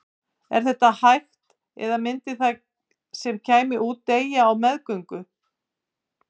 Er þetta hægt eða myndi það sem kæmi út deyja á meðgöngu?